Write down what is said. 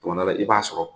Tuma dɔ la i b'a sɔrɔ